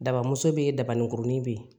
Dabamuso be yen dabaninkuruni be yen